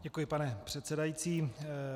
Děkuji, pane předsedající.